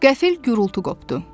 Qəfil gurultu qopdu.